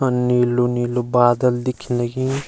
अर नीलू नीलू बादल दिखेंण लगीं।